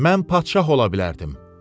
Mən padşah ola bilərdim.